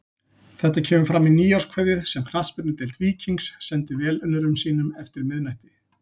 Þetta kemur fram í nýárskveðju sem Knattspyrnudeild Víkings sendi velunnurum sínum eftir miðnætti.